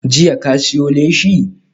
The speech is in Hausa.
Jiya ka siyo leshi?